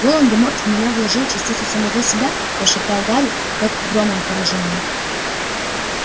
волан-де-морт в меня вложил частицу самого себя прошептал гарри как громом поражённый